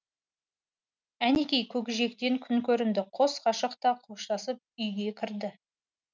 әнекей көкжиектен күн көрінді қос ғашық та қоштасып үйге кірді